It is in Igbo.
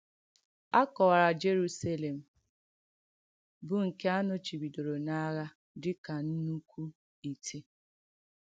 A kọ̀wàrà Jèrùsàlèm bụ́ nke a nọ̀chìbìdòrò n’àghà dị ka nnùkù ìtè.